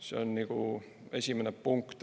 See on nagu esimene punkt.